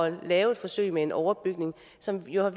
at lave et forsøg med en overbygning som jo har